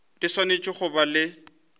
di swanetše go ba le